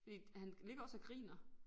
Fordi han ligger også og griner